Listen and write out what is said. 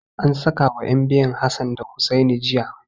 An sakawa ƴan biyun Hassan da Hussaini jiya.